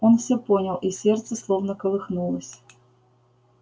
он всё понял и сердце словно колыхнулось